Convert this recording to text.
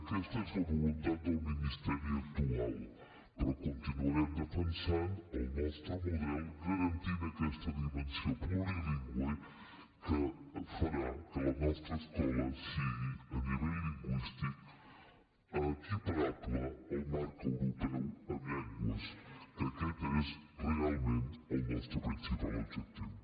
aquesta és la voluntat del ministeri actual però continuarem defensant el nostre model garantint aquesta dimensió plurilingüe que farà que la nostra escola sigui a nivell lingüístic equiparable al marc europeu en llengües que aquest és realment el nostre principal objectiu